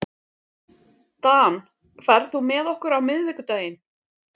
Dan, ferð þú með okkur á miðvikudaginn?